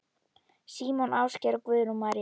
Símon Ásgeir og Guðrún María.